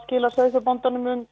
skilar sauðfjárbóndanum